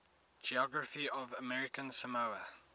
geography of american samoa